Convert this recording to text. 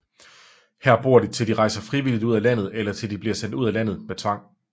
Her bor de til de rejser frivilligt ud af landet eller til de bliver sendt ud af landet med tvang